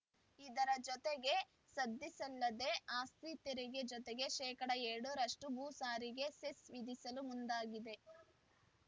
ಇದರ ಜೊತೆಗೆ ಸದ್ದಿಲ್ಲದೆ ಆಸ್ತಿ ತೆರಿಗೆ ಜೊತೆಗೆ ಶೇಕಡಾ ಎರಡ್ ರಷ್ಟುಭೂ ಸಾರಿಗೆ ಸೆಸ್‌ ವಿಧಿಸಲು ಮುಂದಾಗಿದೆ